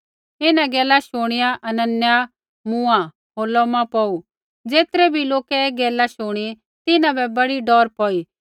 इन्हां गैला शुणिआ हनन्याह मूँआ होर लोमा पौड़ू ज़ेतरै बी लोकै ऐ गैला शुणी तिन्हां बै बड़ी डौर पौई